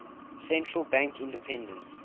central bank independence